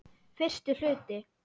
Fyrsti hluti